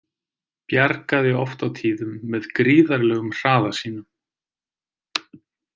Bjargaði oft á tíðum með gríðarlegum hraða sínum.